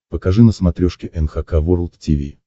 покажи на смотрешке эн эйч кей волд ти ви